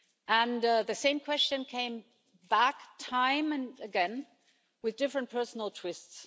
And the same question came back time and again with different personal twists.